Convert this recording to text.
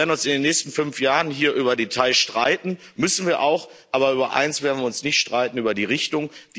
Wir werden uns in den nächsten fünf Jahren hier über Details streiten müssen wir auch aber über eines werden wir uns nicht streiten über die Richtung.